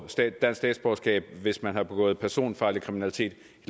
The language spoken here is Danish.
dansk statsborgerskab hvis man har begået personfarlig kriminalitet